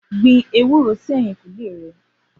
Gbin èwúrò si ẹ̀yín ẹkùn lẹ wà